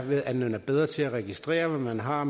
at være bedre til at registrere hvad man har